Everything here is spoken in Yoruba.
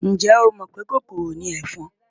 Ǹjẹ́ o mọ̀ pé kòkòrò ni ẹ̀fọn?